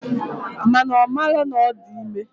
Mana omalo na odi ime.